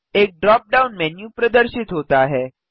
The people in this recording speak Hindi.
एक ड्रॉप डाउन मेन्यू प्रदर्शित होता है